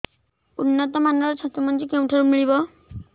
ଉନ୍ନତ ମାନର ଛତୁ ମଞ୍ଜି କେଉଁ ଠାରୁ ମିଳିବ